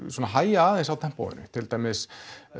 svona hægja aðeins á tempóinu til dæmis